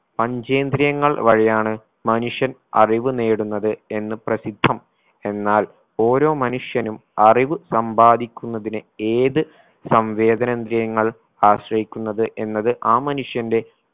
പഞ്ചേന്ദ്രിയങ്ങൾ വഴിയാണ് മനുഷ്യൻ അറിവ് നേടുന്നത് എന്ന് പ്രസിദ്ധം എന്നാൽ ഓരോ മനുഷ്യനും അറിവ് സമ്പാദിക്കുന്നതിന് ഏത് സംവേദനന്ദ്രിയങ്ങൾ ആശ്രയിക്കുന്നത് എന്നത് ആ മനുഷ്യന്റെ